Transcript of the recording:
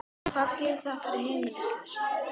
Hvað gerir það fyrir heimilislausa?